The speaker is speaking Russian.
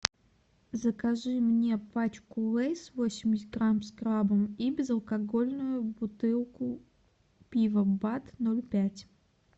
закажи мне пачку лейс восемьдесят грамм с крабом и безалкогольную бутылку пива бад ноль пять